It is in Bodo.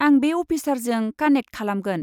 आं बे अफिसारजों कानेक्ट खालामगोन।